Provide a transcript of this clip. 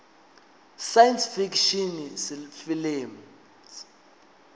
science fiction films